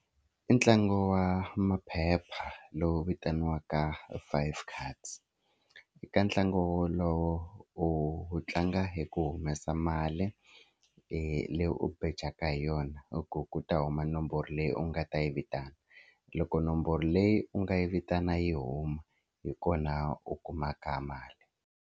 I ntlangu wa maphepha lowu vitaniwaka five cards eka ntlangu wolowo u u tlanga hi ku humesa mali leyi u bejaka hi yona i ku ku ta huma nomboro leyi u nga ta yi vitana loko nomboro leyi u nga yi vitana yi huma hi kona u kumaka mali.